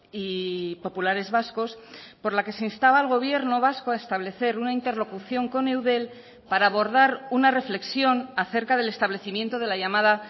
y populares vascos por la que se instaba al gobierno vasco a establecer una interlocución con eudel para abordar una reflexión acerca del establecimiento de la llamada